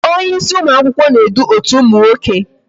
Onye ịsị ụmụakwụkwọ nwoke na-edu otu ụmụ akwụkwọ